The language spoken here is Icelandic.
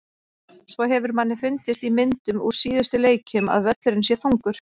Svo hefur manni fundist í myndum úr síðustu leikjum að völlurinn sé þungur.